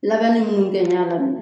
Labɛnni mun kɛɲara min na